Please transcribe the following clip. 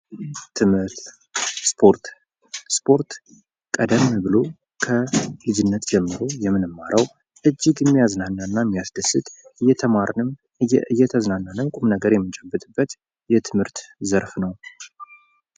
ትምህርት ፦ ስፖርት ፦ስፖርት ቀደም ብሎ ከልጅነት ጀምሮ የምንማረው እጅግ የሚያዝናና እና የሚያስደስት እየተማርንም ፣ እየተዝናናንም ቁም ነገር የምንጨብጥበት የትምህርት ዘርፍ ነው ።